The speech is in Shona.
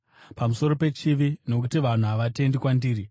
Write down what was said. pamusoro pechivi, nokuti vanhu havatendi kwandiri;